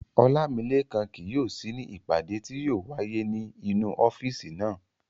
Ọlámilékan kì yóò sí ní ìpàdé tí yóò wáyé ní inú ọ́físì náà